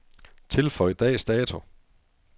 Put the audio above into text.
Tilføj dags dato.